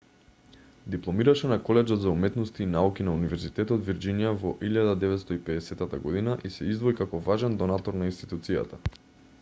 дипломираше на колеџот за уметности и науки на универзитетот вирџинија во 1950 година и се издвои како важен донатор на институцијата